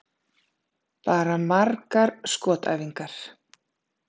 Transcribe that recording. Bara margar skotæfingar.